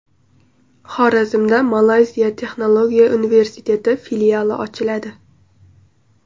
Xorazmda Malayziya Texnologiya universiteti filiali ochiladi.